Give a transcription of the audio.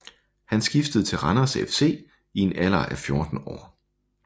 Han skiftede til Randers FC i en alder af 14 år